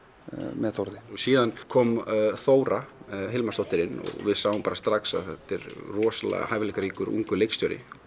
með Þórði síðan kom Þóra Hilmarsdóttir inn og við sáum strax að hún rosa hæfileikaríkur ungur leikstjóri